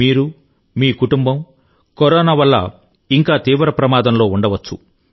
మీరు మీ కుటుంబం కరోనా నుండి ఇంకా తీవ్ర ప్రమాదంలో ఉండవచ్చు